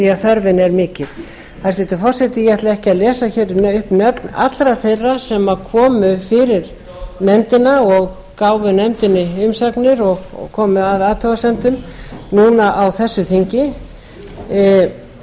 að þörfin er mikil hæstvirtur forseti ég ætla ekki að lesa upp nöfn allra þeirra sem komu fyrir nefndina gáfu nefndinni umsagnir og komu að athugasemdum núna á þessu þingi fyrir